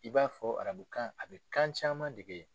I b'a fɔ arabukan a bɛ kan caman dege yen.